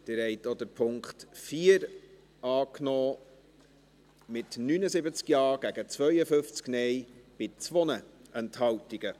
Sie haben auch den Punkt 4 angenommen, mit 79 Ja- gegen 52 Nein-Stimmen bei 2 Enthaltungen.